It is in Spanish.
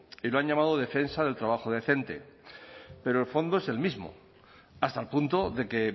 y lo han llamado defensa del trabajo decente pero el fondo es el mismo hasta el punto de que